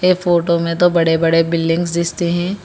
ये फोटो में तो बड़े बड़े बिल्डिंग्स दिस्ते हैं।